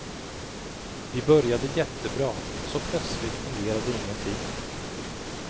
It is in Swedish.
Vi började jättebra och så plötsligt fungerade ingenting.